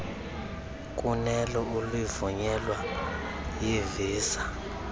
kunelo ulivunyelwa yivisa